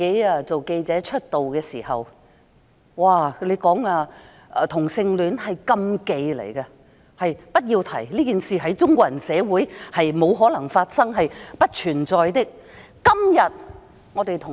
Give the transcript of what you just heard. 當我初出道當記者時，同性戀是禁忌，不可提及，同性戀在中國人社會沒可能發生，是不存在的。